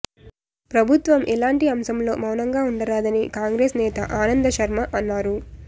ప్రభుత్వం ఇలాంటి అంశంలో మౌనంగా ఉండరాదని కాంగ్రెస్ నేత ఆనంద్శర్మ అన్నారు